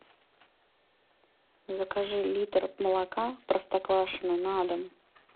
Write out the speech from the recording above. закажи литр молока простоквашино на дом